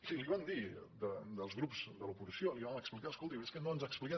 sí li vam dir els grups de l’oposició li vam explicar escolti és que no ens ha explicat